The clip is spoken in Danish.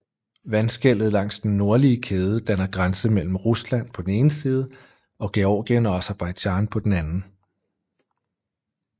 Vandskellet langs den nordlige kæde danner grænse mellem Rusland på den ene side og Georgien og Aserbajdsjan på den anden